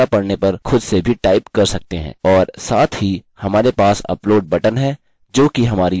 और साथ ही हमारे पास अपलोड बटन है जोकि हमारी upload dot php जमा करता है